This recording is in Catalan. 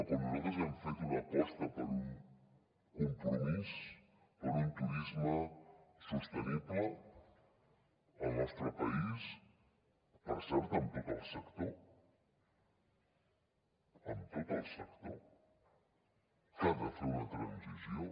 quan nosaltres hem fet una aposta per un compromís per un turisme sostenible al nostre país per cert amb tot el sector amb tot el sector que ha de fer una transició